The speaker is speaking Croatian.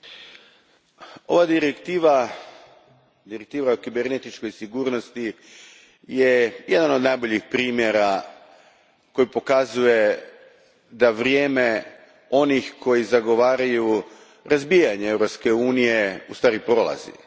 Gospođo predsjednice, ova direktiva o kibernetičkoj sigurnosti je jedan od najboljih primjera koji pokazuje da vrijeme onih koji zagovaraju razbijanje Europske unije u stvari prolazi.